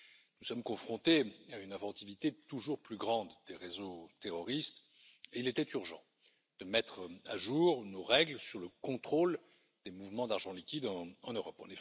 Nous sommes confrontés à une inventivité toujours plus grande des réseaux terroristes, et il était urgent de mettre à jour nos règles sur le contrôle des mouvements d'argent liquide en Europe.